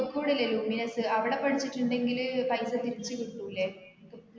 കോഴിക്കോട് ഇല്ലെ luminous അവിടെ പഠിച്ചിട്ടുണ്ടെങ്കില് പൈസ തിരിച്ച് കിട്ടൂലെ